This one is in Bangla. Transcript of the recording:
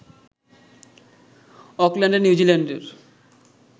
অকল্যান্ডে নিউজিল্যান্ডের